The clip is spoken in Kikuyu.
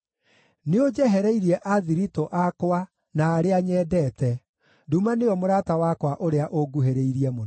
Nĩũnjehereirie athiritũ akwa na arĩa nyendete; nduma nĩyo mũrata wakwa ũrĩa ũnguhĩrĩirie mũno.